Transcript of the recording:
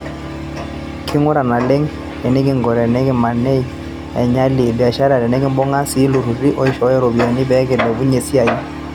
Kingura naleng enikingo tenikimaneg enyali e biashara nekibunga sii oltururi oishooyo ropiyiani peekilepunye esiai